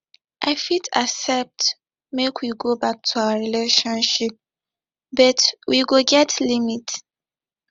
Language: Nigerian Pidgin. i fit accept make we go back to our relationship but we go get limit